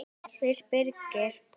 Fyrst Birgir